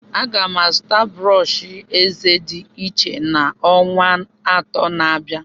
Aga m azụta brọsh eze dị iche n'ọnwa atọ na-abịa.